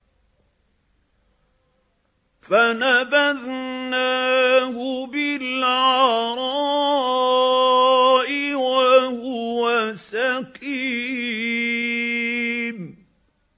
۞ فَنَبَذْنَاهُ بِالْعَرَاءِ وَهُوَ سَقِيمٌ